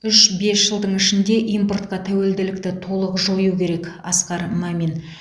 үш бес жылдың ішінде импортқа тәуелділікті толық жою керек асқар мамин